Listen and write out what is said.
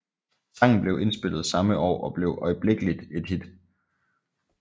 Sangen blev indspillet samme år og blev øjeblikkeligt et hit